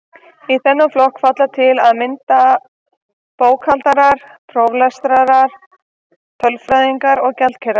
Í þennan flokk falla til að mynda bókhaldarar, prófarkalesarar, tölfræðingar og gjaldkerar.